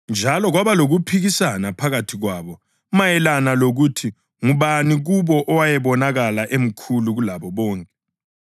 Njalo kwaba lokuphikisana phakathi kwabo mayelana lokuthi ngubani kubo owayebonakala emkhulu kulabo bonke.